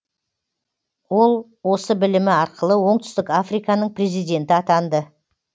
ол осы білімі арқылы оңтүстік африканың президенті атанды